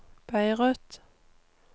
Beirut